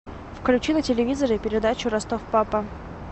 включи на телевизоре передачу ростов папа